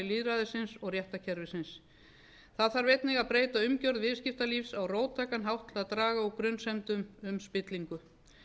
lýðræðisins og réttarkerfisins það þarf einnig að breyta umgerð viðskiptalífs á róttækan hátt til að draga úr grunsemdum spillingu